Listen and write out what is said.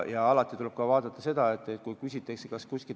Ja alati tuleb vaadata ka seda, kas kuskil aktsiise tulevikus muudetakse.